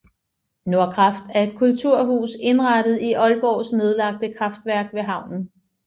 Nordkraft er et kulturhus indrettet i Aalborgs nedlagte kraftværk ved havnen